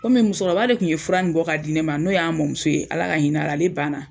Komi musɔkɔrɔba de tun ye fura nin bɔ k'a di ne ma n'o y'an mamuso ye, Ala ka hin'a la, ale banna.